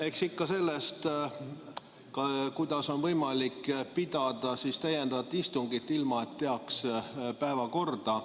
Eks ikka sellest, kuidas on võimalik pidada täiendavat istungit, ilma et teaks päevakorda.